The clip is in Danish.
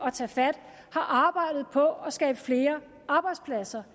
at tage fat har arbejdet på at skabe flere arbejdspladser